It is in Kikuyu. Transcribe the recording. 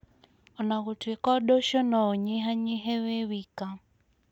O na gũtuĩka ũndũ ũcio no ũnyihanyihe wĩ wika,